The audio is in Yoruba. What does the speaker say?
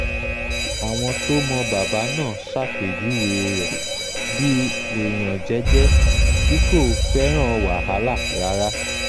àwọn tó mọ bàbá náà ṣàpèjúwe um rẹ̀ bíi èèyàn jẹ́ẹ́jẹ́ tí kò um fẹ́ràn wàhálà rárá